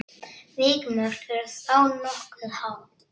Vikmörk eru þá nokkuð há.